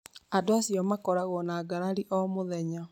Andũ acio makoragwo na ngarari o mũthenya